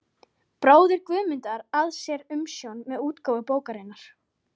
bróðir Guðmundar, að sér umsjón með útgáfu bókarinnar.